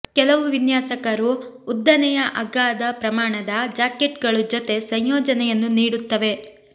ಕೆಲವು ವಿನ್ಯಾಸಕರು ಉದ್ದನೆಯ ಅಗಾಧ ಪ್ರಮಾಣದ ಜಾಕೆಟ್ಗಳು ಜೊತೆ ಸಂಯೋಜನೆಯನ್ನು ನೀಡುತ್ತವೆ